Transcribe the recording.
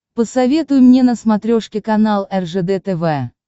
посоветуй мне на смотрешке канал ржд тв